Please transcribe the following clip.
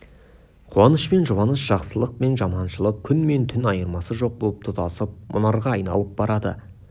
қуаныш пен жұбаныш жақсылық пен жаманшылық күн мен түн айырмасы жоқ боп тұтасып мұнарға айналып барады